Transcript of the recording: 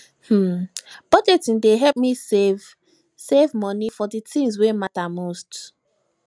um budgeting dey help me save me save money for the things wey matter most